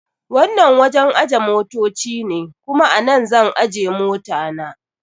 Wannan wajen ajiye motoci ne, kuma a nan zan ajje mota na.